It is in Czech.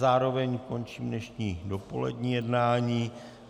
Zároveň končím dnešní dopolední jednání.